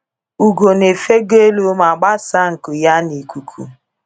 Ugo na-efego elu ma gbasaa nku ya n'ikuku.